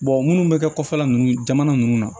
minnu bɛ kɛ kɔfɛla ninnu jamana ninnu na